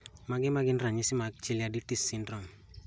Mage magin ranyisi mag Chaliaditi's syndrome